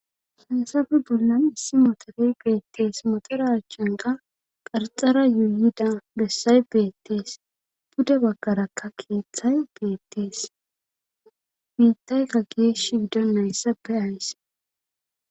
Hansafe bollan issi motore beettees motora achchanqa qarxara yuuyida bessay beettees bude baggarakka keeththay beettees biitayka gees shiido nayssappe ays.